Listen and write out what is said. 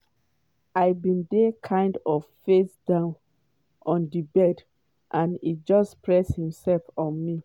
“i bin dey kind of face down on di bed and e just press imsef on me.”